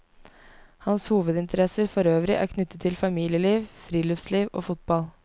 Hans hovedinteresser forøvrig er knyttet til familieliv, friluftsliv og fotball.